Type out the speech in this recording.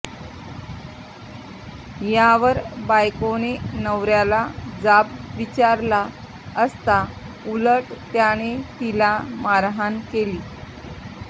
यावर बायकोने नवऱ्याला जाब विचारला असता उलट त्याने तिला मारहाण केली